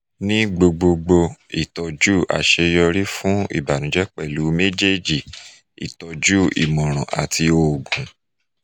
ni gbogbogbo itọju aṣeyọri fun ibanujẹ pẹlu mejeeji itọju imọran ati oogun